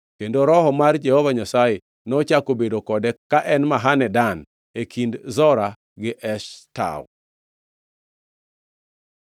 kendo Roho mar Jehova Nyasaye nochako bedo kode ka en Mahane Dan, e kind Zora gi Eshtaol.